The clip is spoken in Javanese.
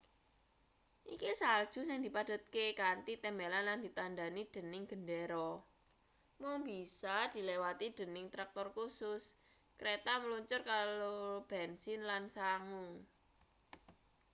iki salju sing dipadhetke kanthi tembelan lan ditandhani dening gendera mung bisa diliwati dening traktor khusus kreta mluncur karo bensin lan sangu